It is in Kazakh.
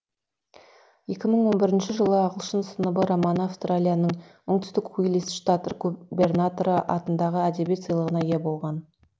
екі мың он бірінші жылы ағылшын сыныбы романы австралияның оңтүстік уилист штат губернаторы атындағы әдебиет сыйлығына ие болған